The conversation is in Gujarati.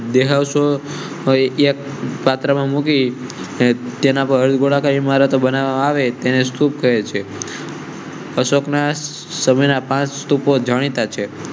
દેહ સો એક માત્ર મુકી તેના પર મારત બનાવે તેને સૂપ કરેં છે. અશોક ના સમય ના પાંચ સ્તુપો જાણીતા છે.